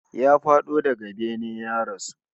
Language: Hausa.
Ya fado daga bene ya rasu